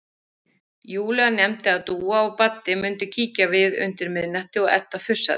Júlía nefndi að Dúa og Baddi mundu kíkja við undir miðnættið og Edda fussaði.